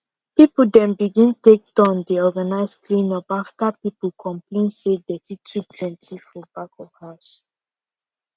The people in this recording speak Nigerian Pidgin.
people dem begin take turn dey organize clean up after people complain say dirty too plenty for back of house